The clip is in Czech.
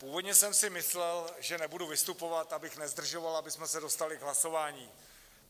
Původně jsem si myslel, že nebudu vystupovat, abych nezdržoval, abychom se dostali k hlasování.